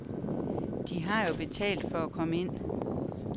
De har jo betalt for at komme ind.